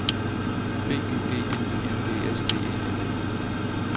B Y G N I N G S D E L E